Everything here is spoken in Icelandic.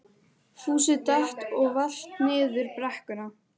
Fúsi datt og valt niður brekkuna.